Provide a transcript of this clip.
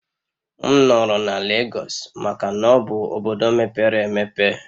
M nọrọ na Lagos maka na ọ bụ obodo mepere emepe